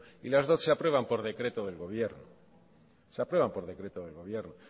y las dot se aprueban por decreto del gobierno se aprueban por decreto del gobierno